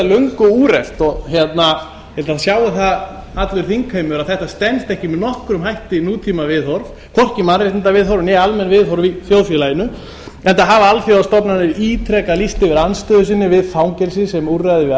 löngu úrelt og ég held að sjái það allur þingheimur að þetta stenst ekki með nokkrum hætti nútímaviðhorf hvorki mannréttindaviðhorf né almenn viðhorf í þjóðfélaginu enda hafa alþjóðastofnanir ítrekað lýst yfir andstöðu sinni við fangelsi sem úrræði við